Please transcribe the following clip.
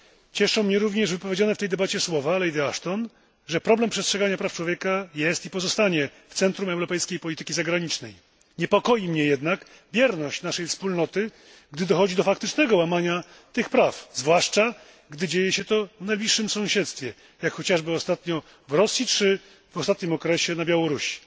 Cieszą mnie również wypowiedziane w tej debacie słowa Lady Ashton, że problem przestrzegania praw człowieka jest i pozostanie w centrum europejskiej polityki zagranicznej. Niepokoi mnie jednak bierność naszej wspólnoty, gdy dochodzi do faktycznego łamania tych praw, zwłaszcza, gdy dzieje się to w najbliższym sąsiedztwie, jak chociażby ostatnio w Rosji, czy w ostatnim okresie na Białorusi.